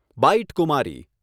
byte Kumari